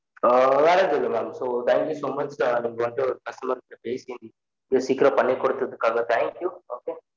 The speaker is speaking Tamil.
உம் வெர எதுவும் இல்ல so thank you so much நீங்க வந்து ஒரு customer க்கு பெசி சீகிரம் பன்னி குடுததுகு thank you okay